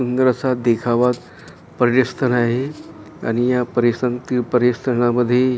सुंदर असा देखावा पर्यस्थळ आहे आणि या परिस ते परिसरामध्ये--